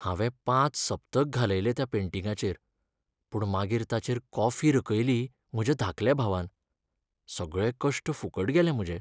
हांवें पांच सप्तक घालयले त्या पेंटिंगाचेर पूण मागीर ताचेर कॉफी रकयली म्हज्या धाकल्या भावान. सगळे कश्ट फुकट गेले म्हजे.